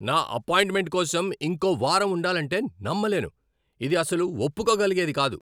నా అపాయింట్మెంట్ కోసం ఇంకో వారం ఉండాలంటే నమ్మలేను. ఇది అస్సలు ఒప్పుకోగలిగేది కాదు.